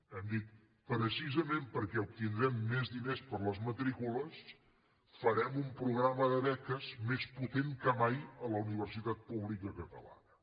hem dit precisament perquè obtindrem més diners per les matrícules farem un programa de beques més potent que mai a la universitat pública catalana